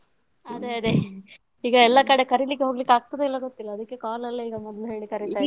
ಅದೇ ಅದೇ ಈಗ ಎಲ್ಲ ಕಡೆ ಕರೀಲಿಕ್ಕೆ ಹೋಗ್ಲಿಕ್ಕಾಗ್ತದ ಇಲ್ವಾ ಗೊತ್ತಿಲ್ಲ ಅದಕ್ಕೆ call ಅಲ್ಲಿ ಈಗ ಮೊದ್ಲು ಹೇಳಿ ಕರಿತಾ ಇದ್ದೀನಿ.